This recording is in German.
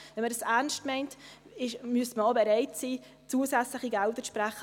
Wenn man dies ernst meint, müsste man auch bereit sein, zusätzliche Gelder zu sprechen.